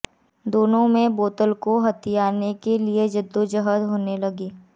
दोनों में बोतल को हथियाने के लिए जद्दोजहद होने लगी